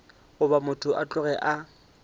goba motho a tloge a